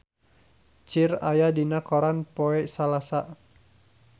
Cher aya dina koran poe Salasa